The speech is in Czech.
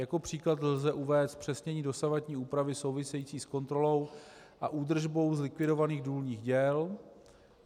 Jako příklad lze uvést zpřesnění dosavadní úpravy související s kontrolou a údržbou zlikvidovaných důlních děl.